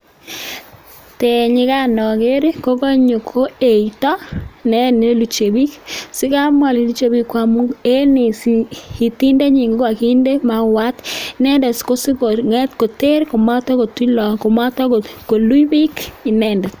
Tenyi kan oger ii, ko kanyo ko eito ne ne luche biik. Asi kai amwa ole luche biiik ii, ko amun en itindenyin kogaginde mauat, inendet ko sigo ng'et koter komato koluch bik inendet.